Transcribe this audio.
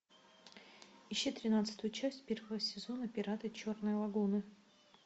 ищи тринадцатую часть первого сезона пираты черной лагуны